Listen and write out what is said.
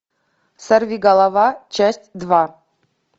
сорвиголова часть два